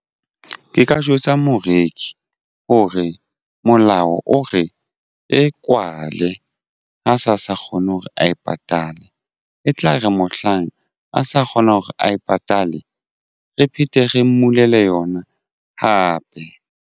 Ke ka jwetsa moreki hore molao o re e kwale ha sa sa kgone hore a patale e tla re mohlang a sa kgona hore a e patale. Re phethe re mmulela yona hape.